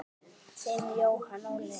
Þinn Jóhann Óli.